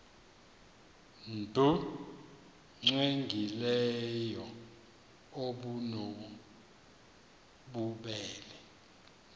nbu cwengileyo obunobubele